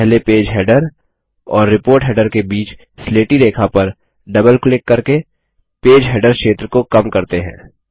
पहले page header और report header के बीच स्लेटी रेखा पर डबल क्लिक करके पेज हेडर क्षेत्र को कम करते हैं